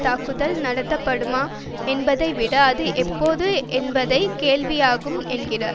தாக்குதல் நடத்தப்படுமா என்பதை விட அது எப்போது என்பதே கேள்வியாகும் என்றார்